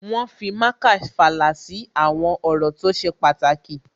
Wọ́n fi marker fàlà sí àwọn ọ̀rọ̀ tó ṣe pàtàkì